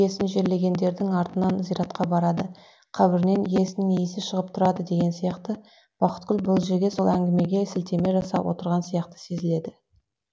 жерлегендердің артынан зиратқа барады қабірінен иесінің исі шығып тұрады деген сияқты бақытгүл бұл жерге сол әңгімеге сілтеме жасап отырған сияқты сезіледі